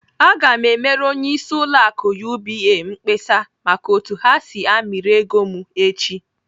Aga m emere onyeisi ụlọ akụ UBA mkpesa maka otu ha si amịrị ego m echi!